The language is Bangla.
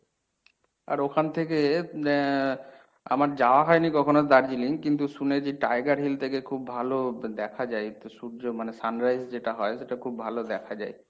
আর ওখান থেকে এর আমার যাওয়া হয়নি কখনো দার্জিলিং কিন্তু শুনেছি tiger hill থেকে খুব ভালো দেখা যায় সূর্য মানে sun rise যেটা হয় সেটা খুব ভালো দেখা যায়।